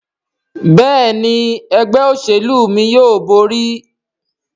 Béèni Ẹgbẹ́ òṣèlú mí yóò bóri.